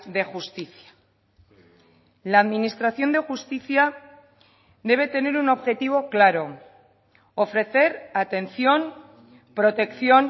de justicia la administración de justicia debe tener un objetivo claro ofrecer atención protección